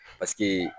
Paseke